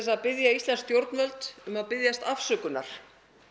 að biðja íslensk stjórnvöld um að biðjast afsökunar